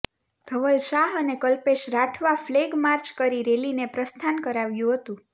ધવલ શાહ અને કલ્પેશ રાઠવા ફલેગમાર્ચ કરી રેલીને પ્રસ્થાન કરાવ્યું હતું